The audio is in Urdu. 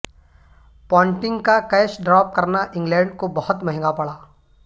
پونٹنگ کا کیچ ڈراپ کرنا انگلینڈ کو بہت مہنگا پڑا